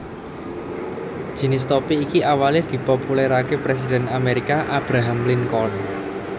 Jinis topi iki awale dipopulerakè presiden Amerika Abraham Lincoln